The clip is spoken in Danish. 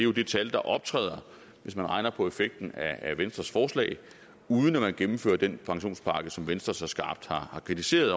jo det tal der optræder hvis man regner på effekten af venstres forslag uden at man gennemfører den pensionspakke som venstre så skarpt har kritiseret